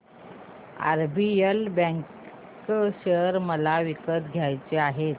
RBL bank share मला विकत घ्यायचे आहेत